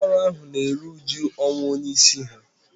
ụlọ ọrụ ahu na-eru uju ọnwụ onye isi ha